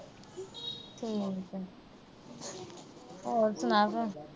ਹੋਰ ਸੁਣਾ ਭੈਣੇ।